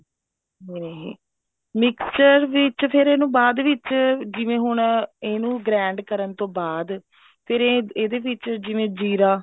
ਹਮ mixture ਵਿੱਚ ਫ਼ੇਰ ਇਹਨੂੰ ਬਾਅਦ ਵਿੱਚ ਜਿਵੇਂ ਹੁਣ ਇਹਨੂੰ grind ਕਰਨ ਤੋਂ ਬਾਅਦ ਫ਼ੇਰ ਇਹਦੇ ਵਿੱਚ ਜਿਵੇਂ ਜ਼ੀਰਾ